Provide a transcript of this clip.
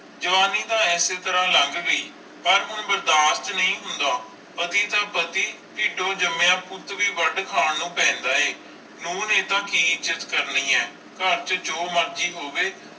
ਜਵਾਨੀ ਤਾ ਐਸੇ ਤਰ੍ਹਾਂ ਲੱਗ ਗਈ ਪਾਰ ਹੁਣ ਬਰਦਾਸ਼ਤ ਨਹੀਂ ਹੋਂਦ ਪਤੀ ਤਾ ਪਤੀ ਤਿਦੋ ਜਾਮਿਆ ਪੁੱਤ ਵੇ ਵਡ ਖਾਨ ਨੂੰ ਪੈਂਦਾ ਆਈ ਨੂੰਹ ਨੇ ਇਹਦਾ ਕਿ ਇਜ੍ਜਤ ਕਰਨੀਆਂ ਆਈ ਕਰ ਚ ਜੋ ਮਰਜ਼ੀ ਹੋਵੇ